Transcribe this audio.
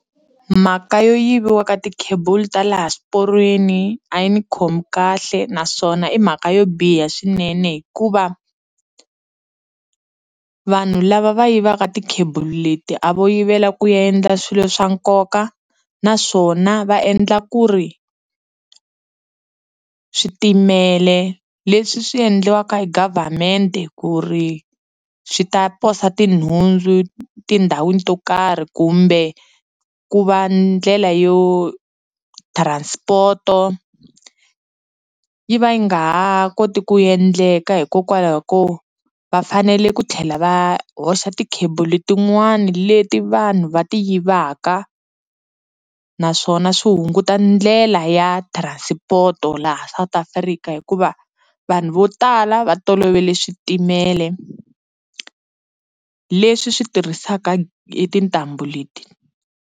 Mhaka yo yiviwa ka ti-cable ta laha swiporweni a yi ni khomi kahle naswona i mhaka yo biha swinene hikuva, vanhu lava va yivaka ti-cable leti a vo yivela ku ya endla swilo swa nkoka naswona va endla ku ri switimela leswi swi endliwaka hi government ku ri swi ta posa tinhundzu tindhawini to karhi kumbe ku va ndlela yo transport-o yi va yi nga ha koti ku endleka hikokwalaho ko va fanele ku tlhela va hoxa ti-cable tin'wana leti vanhu va ti yivaka naswona swi hunguta ndlela ya transport laha South Africa hikuva vanhu vo tala va tolovele switimela leswi swi tirhisaka tintambu leti.